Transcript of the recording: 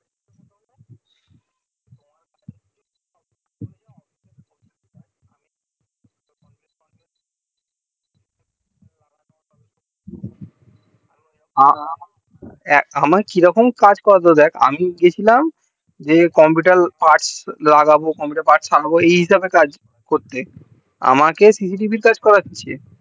আমাকে কি রকম কাজ করাচ্ছে দেখ আমি গেছিলাম যে computer parts লাগাবো computer parts সারাবো এই হিসাবে কাজ করতে আমাকে cctv র কাজ করাচ্ছে